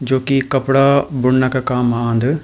जो की कपड़ा बुनना का काम आंद।